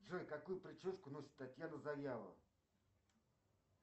джой какую прическу носит татьяна завьялова